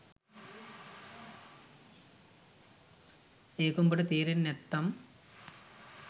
ඒක උඹට තේරෙන්නෙ නැත්තං